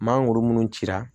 Mangoro minnu cira